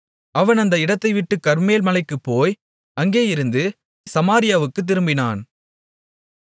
அவன் அந்த இடத்தைவிட்டுக் கர்மேல் மலைக்குப்போய் அங்கேயிருந்து சமாரியாவுக்குத் திரும்பினான்